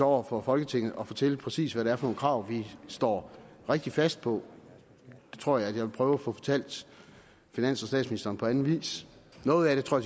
over for folketinget at fortælle præcis hvad det er for nogle krav vi står rigtig fast på det tror jeg at jeg vil prøve at få fortalt finansministeren og anden vis noget af det tror